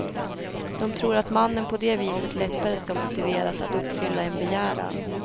De tror att mannen på det viset lättare ska motiveras att uppfylla en begäran.